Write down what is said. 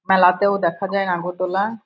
মেলাতেও দেখা যায় নাগরদোলা ।